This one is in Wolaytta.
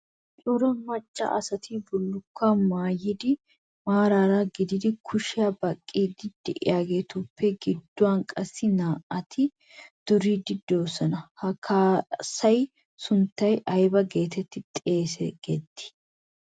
Cora macaa asay bullukkuwaa maayidi maarara eqqidi kushiyaa baqqiiddi de"iyaageetuppe gidduwan qassi naa"ati duriiddi de'oosona. Ha kaassaayyo sunttay ayba geetettii xeegettii?